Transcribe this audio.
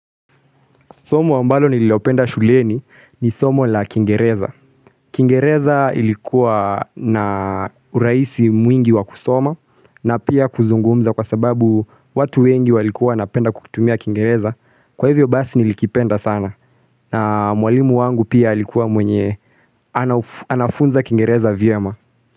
Somo ambalo nililo penda shuleni ni somo la kingereza. Kingereza ilikuwa na uraisi mwingi wa kusoma na pia kuzungumza kwa sababu watu wengi walikuwa wana penda kukutumia kingereza. Kwa hivyo basi nilikipenda sana na mwalimu wangu pia alikuwa mwenye anafunza kingereza vyema.